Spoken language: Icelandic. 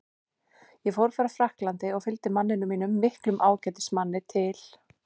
Ég fór frá Frakklandi og fylgdi manninum mínum, miklum ágætismanni, til